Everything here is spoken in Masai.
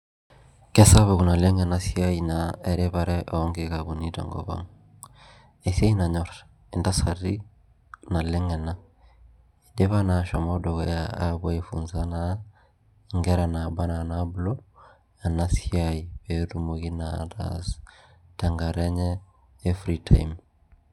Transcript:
Kesapuk enaleng enasiai eripare onkikapuni tenkop ang esiai nanyor ntasati naleng ena idipa na ashomoita dukuya aifunza nkera naba ana nabulu enasiai petumoki na ataas tenkata enye e free time